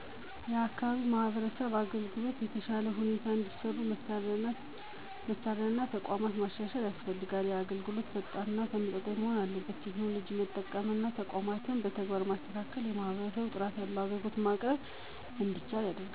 የአካባቢ የማህበረሰብ አገልግሎቶች በተሻለ ሁኔታ እንዲሰጡ መሳሪያ እና ተቋማት ማሻሻል ያስፈልጋል። አገልግሎቶች ፈጣን እና ተመጣጣኝ መሆን አለባቸው። ቴክኖሎጂን መጠቀም እና ተቋማትን በተግባር ማስተካከል ለማህበረሰቡ ጥራት ያለው አገልግሎት ማቅረብ እንዲቻል ያደርጋል። አገልግሎት አቅርቦት የሚደረግበት ቦታ ንፁህና ተመጣጣኝ መሆኑ አስፈላጊ ነው። ባለሞያ ሰራተኞችን በበለጠ ስልጠና እና እውቀት በመስጠት ማበረታታት ይኖርበታል። የማህበረሰብ አስተዋጽኦ መቀላቀል እና ፈጣን አገልግሎት መስጠት በግልፅነት መካከል በጣም ዋና ስለሆነ መጠበቅ አለበት።